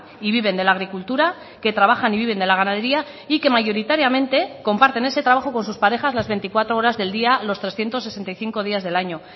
y viven de la agricultura que trabajan y viven de la ganadería y que mayoritariamente comparten ese trabajo con sus parejas las veinticuatro horas del día los trescientos sesenta y cinco días del año